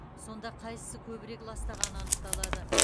сонда қайсысы көбірек ластағаны анықталады